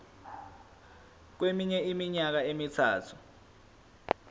kweminye iminyaka emithathu